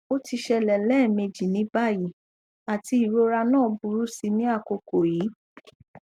o ti ṣẹlẹ lẹẹmeji ni bayi ati irora naa buru si ni akoko yii